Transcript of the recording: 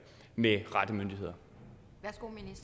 med hvad